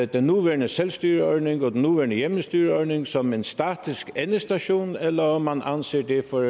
den nuværende selvstyreordning og den nuværende hjemmestyreordning som en statisk endestation eller om man anser det for